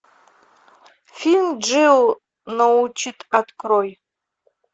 фильм джио научит открой